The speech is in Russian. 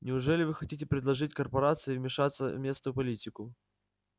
неужели вы хотите предложить корпорации вмешаться в местную политику